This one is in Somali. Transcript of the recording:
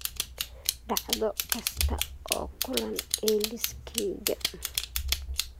dhacdo kasta oo kulan ee liiskayga